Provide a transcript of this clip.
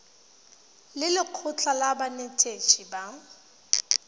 le lekgotlha la banetetshi ba